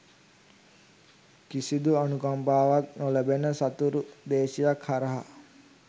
කිසිදු අනුකම්පාවක් නොලැබෙන සතුරු දේශයක් හරහා